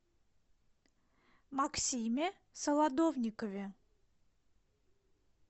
максиме солодовникове